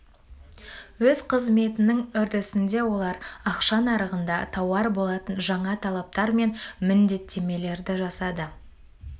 өз қызметінің үрдісінде олар ақша нарығында тауар болатын жаңа талаптар мен міндеттемелерді жасады